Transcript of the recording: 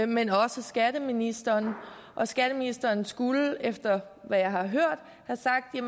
men også skatteministeren og skatteministeren skulle efter hvad jeg har hørt have sagt at